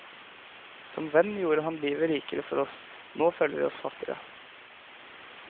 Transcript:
Som venn gjorde han livet rikere for oss, nå føler vi oss fattigere.